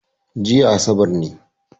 Jiya asabar ne